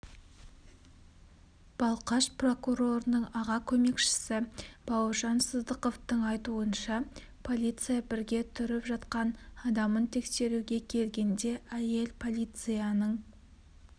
балқаш прокурорының аға көмекшісі бауыржан сыздықовтың айтуынша полиция бірге тұрып жатқан адамын тексеруге келгенде әйел полицияның